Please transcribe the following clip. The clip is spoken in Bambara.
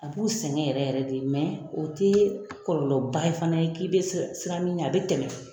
A b'u sɛngɛ yɛrɛ yɛrɛ de o te kɔlɔlɔba fana ye, k'i bɛ siran min ɲɛ a be tɛmɛ